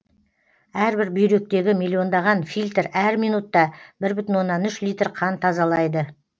әрбір бүйректегі миллиондаған фильтр әр минутта бір бүтін оннан үш литр қан тазалайды